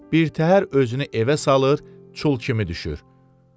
Birtəhər özünü evə salır, çul kimi düşür.